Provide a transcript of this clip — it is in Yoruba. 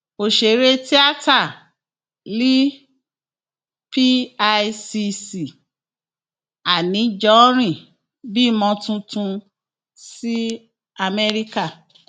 ọsẹrẹ tiata l picc anijọrin bímọ tuntun s amerika